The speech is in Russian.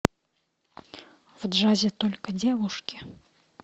в джазе только девушки